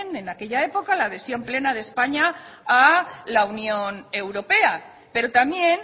en aquella época la adhesión plena de españa a la unión europea pero también